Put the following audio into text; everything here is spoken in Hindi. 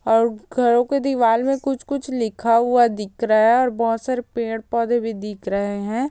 और घरों की दीवार में कुछ-कुछ लिखा हुआ दिख रहा है और बहोत सारे पेड़-पौधे भी दिख रहे है।